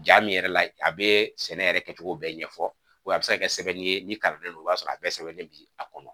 Ja min yɛrɛ la a bɛ sɛnɛ yɛrɛ kɛcogo bɛɛ ɲɛfɔ, a bɛ se ka kɛ sɛbɛn ye ni kalanden no o b'a sɔrɔ a bɛɛ sɛbɛnnen bi a kɔnɔ.